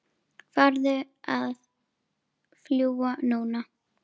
Farðu að fljúga, núna